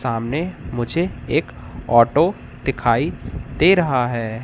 सामने मुझे एक ऑटो दिखाई दे रहा है।